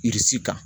kan